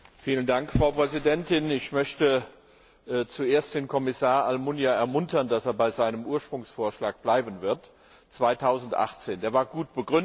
Frau Präsidentin! Ich möchte zuerst den Kommissar Almunia ermuntern, dass er bei seinem ursprünglichen Vorschlag bleibt 2018. Der war gut begründet.